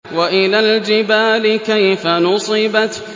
وَإِلَى الْجِبَالِ كَيْفَ نُصِبَتْ